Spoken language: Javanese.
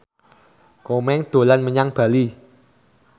Komeng dolan menyang Bali